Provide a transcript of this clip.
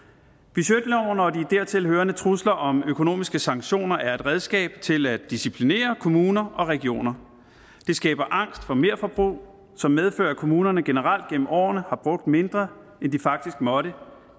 budgetloven og de dertil hørende trusler om økonomiske sanktioner er et redskab til at disciplinere kommuner og regioner det skaber angst for merforbrug som medfører at kommunerne generelt gennem årene har brugt mindre end de faktisk måtte